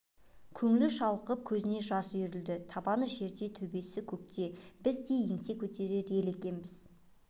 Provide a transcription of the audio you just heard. көңілі шалқып көзіне жас үйірілді табаны жерде төбесі көкте біз де еңсе көтерер ел екенбіз